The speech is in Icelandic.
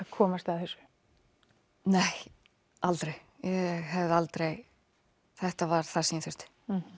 komast að þessu nei aldrei ég hefði aldrei þetta var það sem ég þurfti